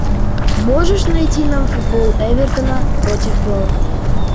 можешь найти нам футбол эвертона против бернли